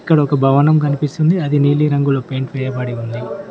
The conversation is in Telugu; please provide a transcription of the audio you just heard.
ఇక్కడొక భవనం కనిపిస్తుంది అది నీలిరంగులో పెయింట్ వేయబడి ఉంది.